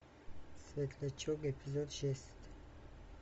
светлячок эпизод шесть